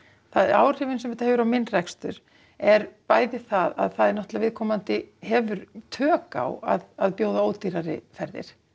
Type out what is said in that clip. áhrifin sem þetta hefur á minn rekstur er bæði það að viðkomandi hefur tök á að bjóða ódýrari ferðir